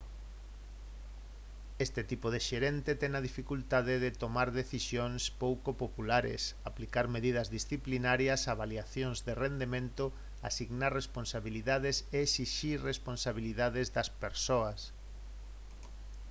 este tipo de xerente ten a dificultade de tomar decisións pouco populares aplicar medidas disciplinarias avaliacións de rendemento asignar responsabilidades e esixir responsabilidades das persoas